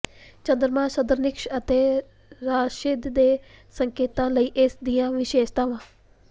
ਚੰਦਰਮਾ ਸਰਦਨੀਕਸ ਅਤੇ ਰਾਸ਼ਿਦ ਦੇ ਸੰਕੇਤਾਂ ਲਈ ਇਸ ਦੀਆਂ ਵਿਸ਼ੇਸ਼ਤਾਵਾਂ